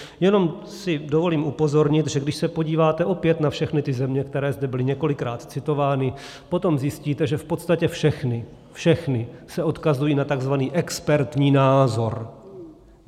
Jenom si dovolím upozornit, že když se podíváte opět na všechny ty země, které zde byly několikrát citovány, potom zjistíte, že v podstatě všechny, všechny se odkazují na tzv. expertní názor.